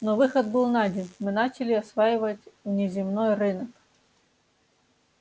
но выход был найден мы начали осваивать внеземной рынок